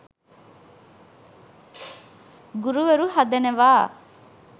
ගුරුවරු හදනවා